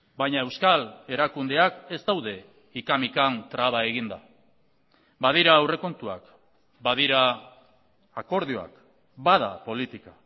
baina euskal erakundeak ez daude hika mikan traba eginda badira aurrekontuak badira akordioak bada politika